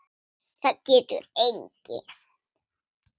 Það getur enginn.